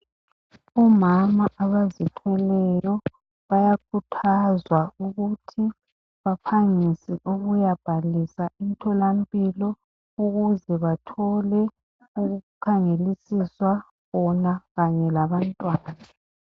Omama abazithweleyo bayakhuthazwa ukuthi baphangise ukuya bhalisa emtholampilo ukuze bathole ukukhangelisiswa bona kanye labantwana.